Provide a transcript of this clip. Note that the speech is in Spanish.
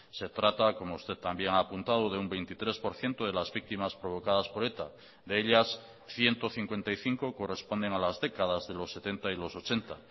se trata como usted también ha apuntado de un veintitrés por ciento de las víctimas provocadas por eta de ellas ciento cincuenta y cinco corresponden a las décadas de los setenta y los ochenta